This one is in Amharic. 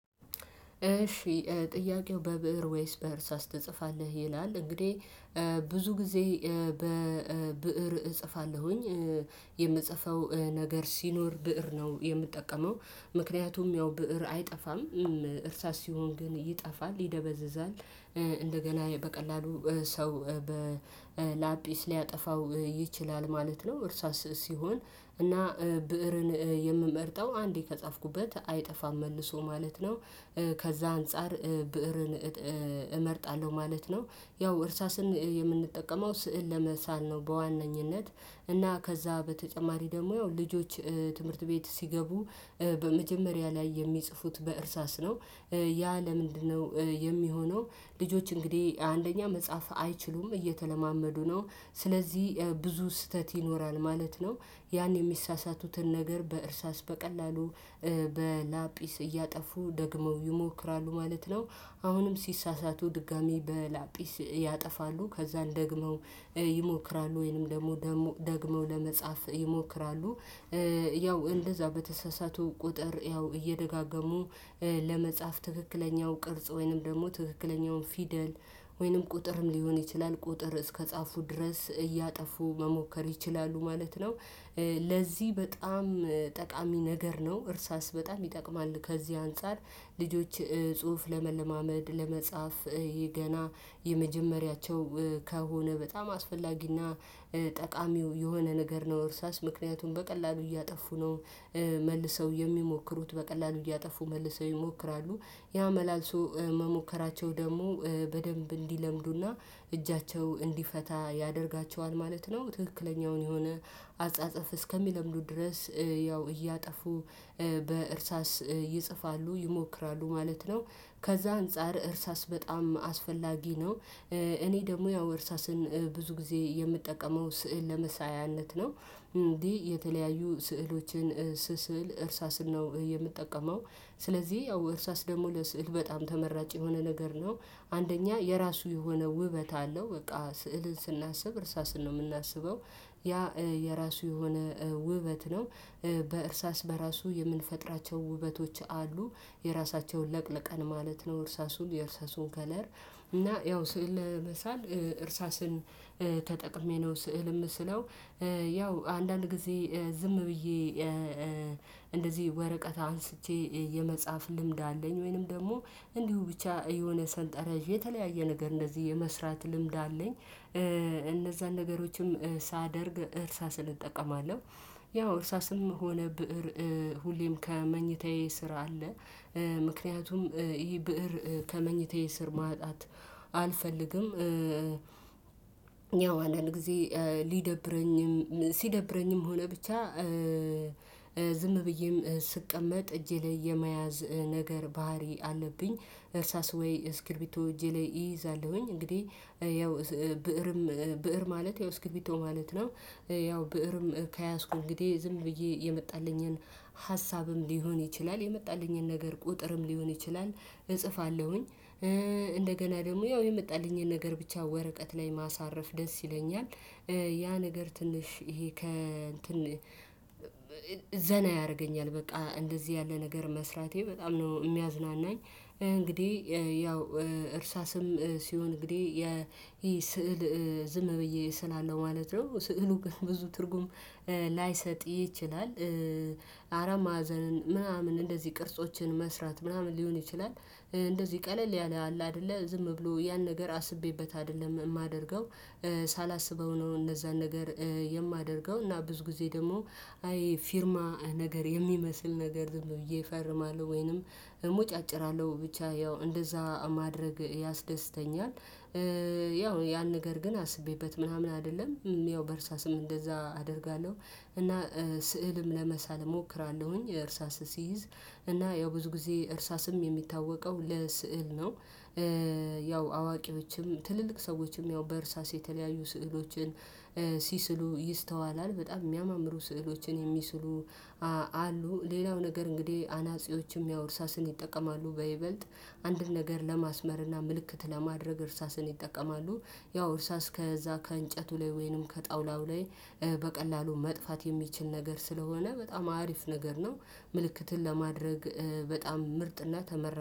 እሺ ጥያቄው በብእር ወይስ በእርሳስ ወይስ ትጽፋለህ ይላል? እንግዲህ ብዙ ጊዜ በብእር እጽፋለሁኝ የምጽፈው ነገር ሲኖር ብእር ነው የምጠቀመው። ምክንያቱም ያው ብእር አይጠፋም እርሳስ ሲሆን ግን ይጠፋል ይደበዝዛል። እንደገና በቀላሉ ሰው በላጲስ ሊያጠፋው ይችላል ማለት ነው። እርሳስ ሲሆን እና ብእርን የምመርጠው አንዴ ከጻፍኩበት አይጠፋም መልሶ ማለት ነው። ከዛ አንፃር ብእርን እመርጣለሁ ማለት ነው። ያው እርሳስን የምንጠቀመው ስዕል ለመሳል ነው። በዋነኝነት እና ከዛ በተጨማሪ ደግሞ ያው ልጆች ትምህርት ቤት ሲገቡ በመጀመሪያ ላይ የሚጽፉት በእርሳስ ነው። ያ ለምንድነው የሚሆነው? ልጆች እንግዲህ አንደኛ መጽሐፍ አይችሉም እየተለማመዱ ነው። ስለዚህ ብዙ ስህተት ይኖራል ማለት ነው። ያን የሚሳሳቱትን ነገር በእርሳስ በቀላሉ በላጲስ እያጠፉ ደግሞ ይሞክራሉ ማለት ነው። አሁንም ሲሳሳቱ ድጋሚ በላጲስ ያጠፋሉ ከዛ ደግሞ ይሞክራሉ ወይንም ደግሞ ደግሞ ለመጻፍ ይሞክራሉ። ያው እንደዛ በተሳሳቱ ቁጥር ያው እየደጋገሙ ለመጻፍ ትክክለኛው ቅርጽ ወይንም ደግሞ ትክክለኛውን ፊደል ወይንም ቁጥርም ሊሆን ይችላል ቁጥር እስከጻፉ ድረስ እያጠፉ መሞከር ይችላሉ ማለት ነው። ለዚህ በጣም ጠቃሚ ነገር ነው እርሳስ በጣም ይጠቅማል። ከዚህ አንፃር ልጆች ጽሁፍ ለመለማመድ ለመጻፍ ይሄ ገና የመጀመሪያቸው ከሆነ በጣም አስፈላጊና ጠቃሚው የሆነ ነገር ነው እርሳስ ምክንያቱም በቀላሉ እያጠፉ ነው። መልሰው የሚሞክሩት በቀላሉ እያጠፉ መልሰው ይሞክራሉ ያ መላልሶ መሞከራቸው ደግሞ በደንብ እንዲለምዱና እጃቸው እንዲፈታ ያደርጋቸዋል ማለት ነው። ትክክለኛውን የሆነ አጻጸፍ እስከሚለምዱ ድረስ ያው እያጠፉ በእርሳስ ይጽፋሉ ይሞክራሉ ማለት ነው። ከዛ አንፃር እርሳስ በጣም አስፈላጊ ነው። እኔ ደግሞ ያው እርሳስን ብዙ ጊዜ የምጠቀመው ስዕል ለመሳያነት ነው። እንዲህ የተለያዩ ስዕሎችን ስስል እርሳስን ነው የምጠቀመው። ስለዚህ ያው እርሳስ ደግሞ ለስዕል በጣም ተመራጭ የሆነ ነገር ነው። አንደኛ የራሱ የሆነ ውበት አለው በቃ ስዕልን ስናስብ እርሳስን ነው የምናስበው። ያ የራሱ የሆነ ውበት ነው። በእርሳስ በራሱ የምንፈጥራቸው ውበቶች አሉ። የራሳቸውን ለቅለቀን ማለት ነው። እርሳሱን የእርሳሱን ከለር እና ያው ስዕል ለመሳል እርሳስን ተጠቅሜ ነው ስዕል ምስለው። ያው አንዳንድ ጊዜ ዝም ብዬ እንደዚህ ወረቀት አንስቼ የመጽሐፍ ልምድ አለኝ ወይንም ደግሞ እንዲሁ ብቻ የሆነ ሰንጠረዥ የተለያየ ነገር እንደዚህ የመስራት ልምድ አለኝ። እነዛን ነገሮችም ሳደርግ እርሳስን እጠቀማለሁ። ያው እርሳስም ሆነ ብእር ሁሌም ከመኝታዬ ስራ አለ። ምክንያቱም ይህ ብእር ከመኝታዬ ስር ማጣት አልፈልግም። ያው አንዳንድ ጊዜ ሊደብረኝም ሲደብረኝም ሆነ ብቻ ዝም ብዬም ስቀመጥ እጄ ላይ የመያዝ ነገር ባህሪ አለብኝ። እርሳስ ውይ እስክርቢቶ እጄ ላይ እይዛለሁኝ እንግዲህ ያው ብእርም ብእር ማለት ያው እስክርቢቶ ማለት ነው። ያው ብእርም ከያዝኩ እንግዲህ ዝም ብዬ የመጣልኝን ሀሳብም ሊሆን ይችላል የመጣልኝን ነገር ቁጥርም ሊሆን ይችላል። እጽፋለሁኝ እንደገና ደግሞ ያው የመጣልኝን ነገር ብቻ ወረቀት ላይ ማሳረፍ ደስ ይለኛል። ያ ነገር ትንሽ ይሄ ከ እንትን ዘና ያደርገኛል በቃ እንደዚህ ያለ ነገር መስራቴ በጣም ነው የሚያዝናናኝ። እንግዲህ ያው እርሳስም ሲሆን እንግዲህ ይህ ስዕል ዝም ብዬ እስላለው ማለት ነው ስዕሉ ግን ብዙ ትርጉም ላይሰጥ ይችላል። አራት ማዕዘንን ምናምን እንደዚህ ቅርጾችን መስራት ምናምን ሊሆን ይችላል እንደዚህ ቀለል ያለ አለ አይደለ ዝም ብሎ ያን ነገር አስቤበት አይደለም የማደርገው። ሳላስበው ነው እነዛን ነገር የማደርገው እና ብዙ ጊዜ ደግሞ አይ ፊርማ ነገር የሚመስል ነገር ዝም ብዬ እፈርማለሁ ወይንም እሞጫጭራለሁ ብቻ ያው እንደዛ ማድረግ ያስደስተኛል። ያው ያን ነገር ግን አስቤበት ምናምን አይደለም። ያው በእርሳስም እንደዛ አደርጋለሁ። እና ስዕልም ለመሳል እሞክራለሁኝ እርሳስ ሲይዝ እና ያው ብዙ ጊዜ እርሳስም የሚታወቀው ለስዕል ነው። ያው አዋቂዎችም ትልልቅ ሰዎችም ያው በእርሳስ የተለያዩ ስዕሎችን ሲስሉ ይስተዋላል። በጣም የሚያማምሩ ስዕሎችን የሚስሉ አሉ ሌላው ነገር እንግዲህ አናጺዎችም ያው እርሳስን ይጠቀማሉ በይበልጥ አንድን ነገር ለማስመርና ምልክት ለማድረግ እርሳስን ይጠቀማሉ። ያው እርሳስ ከዛ ከእንጨቱ ላይ ወይንም ከጣውላው ላይ በቀላሉ መጥፋት የሚችል ነገር ስለሆነ በጣም አሪፍ ነገር ነው። ምልክትን ለማድረግ በጣም ምርጥና ተመራጭ